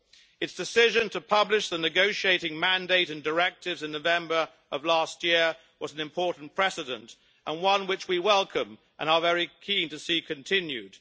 Its decision to publish the negotiating mandate and directives in November of last year was an important precedent and one which we welcome and are very keen to see continued.